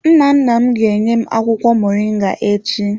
Nnanna m ga-enye m akwụkwọ moringa echi.